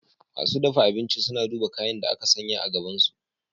Masu dafa abinci suna duba kayan da aka sanya a gabansu.